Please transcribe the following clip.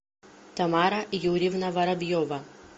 тамара юрьевна воробьева